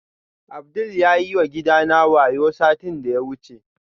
Abdul yayi wa gidana wayo satin da ya wuce